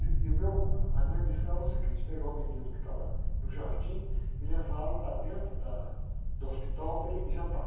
E, e meu, a minha missão era o seguinte, pegar o menino que estava no jardim e levá-lo para dentro da, do hospital para ele jantar.